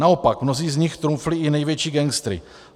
Naopak, mnozí z nich trumfli i největší gangstery.